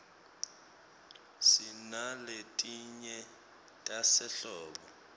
sinaletinye tasehlobo